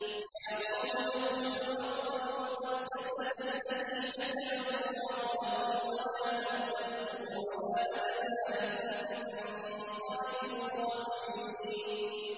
يَا قَوْمِ ادْخُلُوا الْأَرْضَ الْمُقَدَّسَةَ الَّتِي كَتَبَ اللَّهُ لَكُمْ وَلَا تَرْتَدُّوا عَلَىٰ أَدْبَارِكُمْ فَتَنقَلِبُوا خَاسِرِينَ